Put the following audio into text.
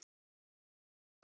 Pabbi að.